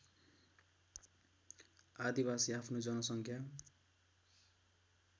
आदिवासी आफ्नो जनसङ्ख्या